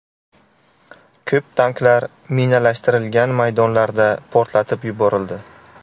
Ko‘p tanklar minalashtirilgan maydonlarda portlatib yuborildi.